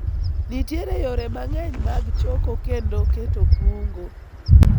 nitiere yore mang'eny mag choko kendo keto kungo